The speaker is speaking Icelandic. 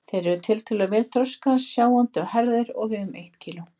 Þeir eru tiltölulega vel þroskaðir, sjáandi og hærðir og vega um eitt kíló.